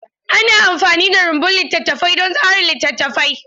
Ana amfani da rumbun littattafai don tsara littattafai.